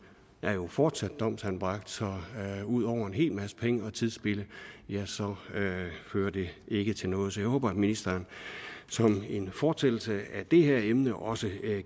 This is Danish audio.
er jo fortsat domsanbragt så ud over en hel masse penge og tidsspilde fører det ikke til noget så jeg håber at ministeren som en fortsættelse af det her emne også